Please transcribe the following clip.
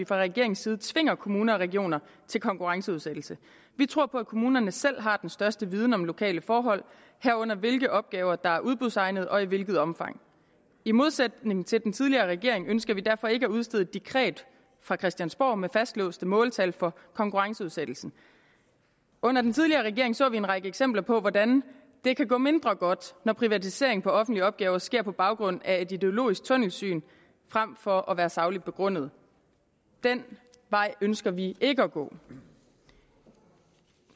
fra regeringens side tvinger kommunerne og regionerne til konkurrenceudsættelse vi tror på at kommunerne selv har den største viden om lokale forhold herunder hvilke opgaver der er udbudsegnede og i hvilket omfang i modsætning til den tidligere regering ønsker vi derfor ikke at udstede et dekret fra christiansborg med fastlåste måltal for konkurrenceudsættelse under den tidligere regering så vi en række eksempler på hvordan det kan gå mindre godt når privatisering af offentlige opgaver sker på baggrund af et ideologisk tunnelsyn frem for at være sagligt begrundet den vej ønsker vi ikke at gå